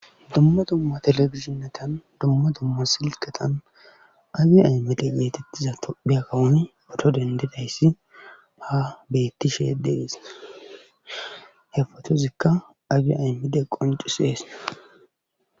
Domma domma telefishinetan domma domma silqatan abi aymide yeetettiza tophiya kawoni oto dendidayssi ha bettishe yededis he fotozikka abi aymide qoncis eese.